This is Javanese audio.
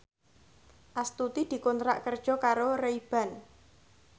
Astuti dikontrak kerja karo Ray Ban